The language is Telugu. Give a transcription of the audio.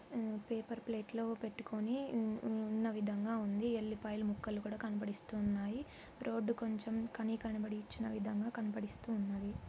ఊ పేపర్ ప్లేట్ లో పెట్టుకుని ఉ-ఉన్న విధంగా ఉంది. ఎల్లిపాయలు ముక్కలు కూడా కనపడిస్తూ ఉన్నాయి. రోడ్డు కొంచెం కనీ కనపడని ఇచ్చిన విధంగా కనబడిస్తూ ఉన్నది.